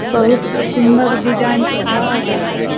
बहोत सुंदर डिज़ाइन के घर है।